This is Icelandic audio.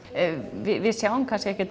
við sjáum kannski ekki